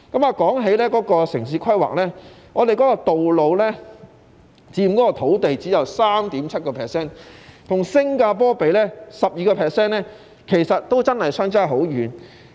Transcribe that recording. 說到城市規劃，本港道路佔土地只有 3.7%， 與新加坡的 12% 相比，真的相差很遠。